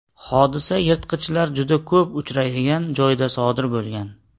Hodisa yirtqichlar juda ko‘p uchraydigan joyda sodir bo‘lgan.